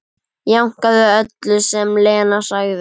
Jánkaði öllu sem Lena sagði.